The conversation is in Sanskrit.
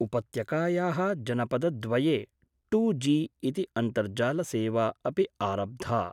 उपत्यकाया: जनपदद्वये टूजी इति अन्तर्जालसेवा अपि आरब्धा।